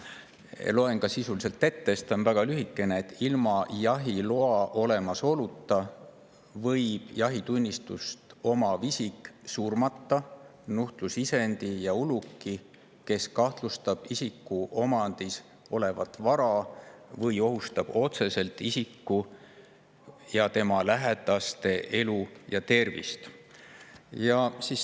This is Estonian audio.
Loen sisu ette, sest see on väga lühikene: ilma jahiloa olemasoluta võib jahitunnistust omav isik surmata nuhtlusisendi ja uluki, kes kahjustab isiku omandis olevat vara või ohustab otseselt isiku ja tema lähedaste elu ja tervist.